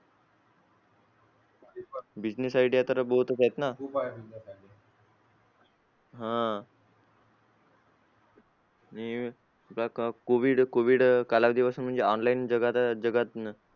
business idea तर बहुतच आहेत ना हा covid covid कालावधीपासून online जगात जगात